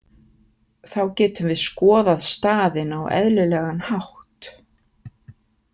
Þá getum við skoðað staðinn á eðlilegan hátt.